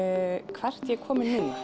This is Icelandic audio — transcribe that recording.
hvert ég er komin